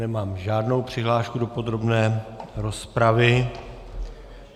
Nemám žádnou přihlášku do podrobné rozpravy.